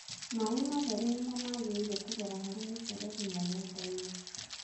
maaĩ matheru nĩmo mangĩrĩire kũgera harĩ mĩmberethi mũgũnda-inĩ